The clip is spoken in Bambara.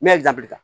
Ne ye jabida